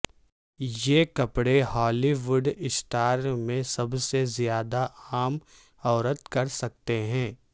یہ کپڑے Hollywood star میں سب سے زیادہ عام عورت کر سکتے ہیں